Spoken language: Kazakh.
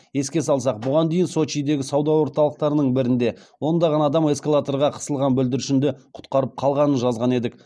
еске салсақ бұған дейін сочидегі сауда орталықтарының бірінде ондаған адам эскалаторға қысылған бүлдіршінді құтқарып қалғанын жазған едік